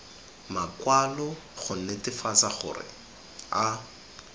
makwalo go netefatsa gore a